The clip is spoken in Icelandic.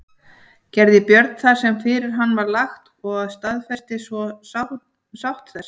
Gerði Björn það sem fyrir hann var lagt og staðfestist svo sátt þessi.